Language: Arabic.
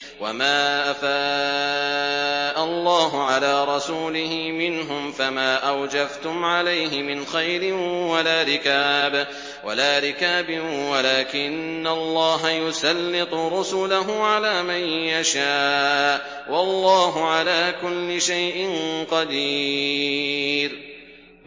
وَمَا أَفَاءَ اللَّهُ عَلَىٰ رَسُولِهِ مِنْهُمْ فَمَا أَوْجَفْتُمْ عَلَيْهِ مِنْ خَيْلٍ وَلَا رِكَابٍ وَلَٰكِنَّ اللَّهَ يُسَلِّطُ رُسُلَهُ عَلَىٰ مَن يَشَاءُ ۚ وَاللَّهُ عَلَىٰ كُلِّ شَيْءٍ قَدِيرٌ